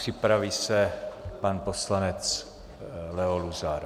Připraví se pan poslanec Leo Luzar.